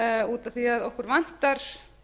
út af því að okkur vantar